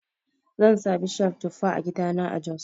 Zan sa bishiyar tufa a gidana a jos.